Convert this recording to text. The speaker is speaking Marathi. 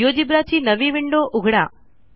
जिओजेब्रा ची नवी विंडो उघडा